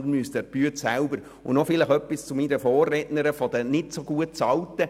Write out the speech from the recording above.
Sie müssen nicht an den Arbeitsstunden schrauben, sondern an der Arbeit selber.